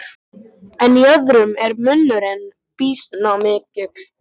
En í öðrum er munurinn býsna mikill.